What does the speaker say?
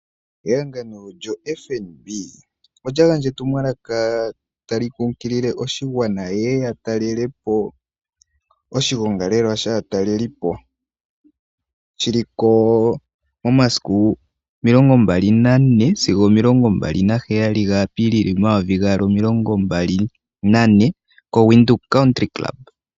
Ehangano lyoFnb ola gandja etumwalaka kaakwashigwana tali kunkilile yeye yatalelepo oshigongalela shaatalelipo shiliko momasiku 24 sigo 27 gaApilili 2024 shili mOvenduka.